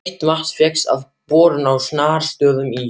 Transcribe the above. Heitt vatn fékkst við borun á Snartarstöðum í